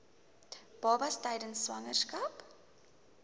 babas tydens swangerskap